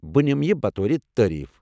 بہٕ نِمہٕ یہِ بطور تعریف ۔